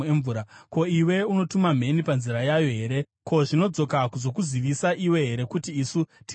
Ko, iwe unotuma mheni panzira yayo here? Ko, zvinodzoka kuzokuzivisa iwe here kuti isu tiri pano?